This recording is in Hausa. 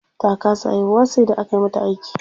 Ta kasa haihuwa sai da aka mata aiki.